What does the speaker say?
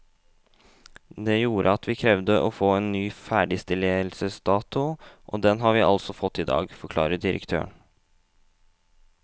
Det gjorde at vi krevde å få en ny ferdigstillelsesdato, og den har vi altså fått i dag, forklarer direktøren.